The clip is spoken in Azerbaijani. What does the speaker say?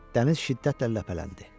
Dəniz şiddətlə ləpələndi.